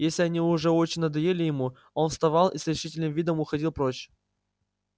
если они уж очень надоедали ему он вставал и с решительным видом уходил прочь